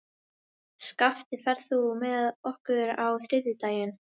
Skafti, ferð þú með okkur á þriðjudaginn?